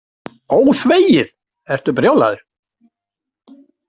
ÓÞVEGIÐ, ertu brjálaður.